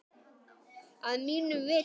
Að mínu viti.